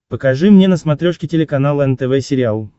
покажи мне на смотрешке телеканал нтв сериал